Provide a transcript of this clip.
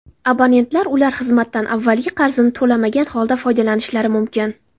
Abonentlar ushbu xizmatdan avvalgi qarzini to‘lamagan holda foydalanishlari mumkin.